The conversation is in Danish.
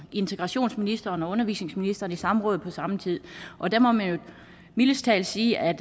integrationsministeren og undervisningsministeren i samråd på samme tid og der må man jo mildest talt sige at